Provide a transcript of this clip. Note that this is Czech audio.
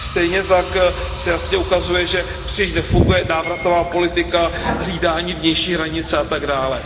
Stejně tak se jasně ukazuje, že příliš nefunguje návratová politika, hlídání vnějších hranic a tak dále.